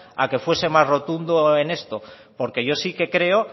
a que fuese más rotundo en esto porque yo sí que creo